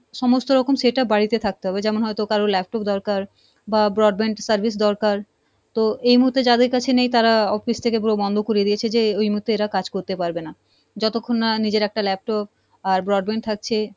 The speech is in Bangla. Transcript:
সমস্ত রকম setup বাড়িতে থাকতে হবে যেমন হয়তো কারোর laptop দরকার বা broadband service দরকার, তো এই মুহুর্তে যাদের কাছে নেই তারা office থেকে পুরো করে দিয়েছে যে এই মুহূর্তে এরা কাজ করতে পারবে না। যতক্ষন না নিজের একটা laptop আর broadband থাকছে,